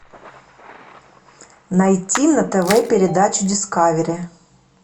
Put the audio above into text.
найти на тв передачу дискавери